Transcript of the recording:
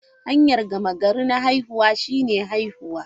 Hanyar gama gari na haihuwa shine haihuwa.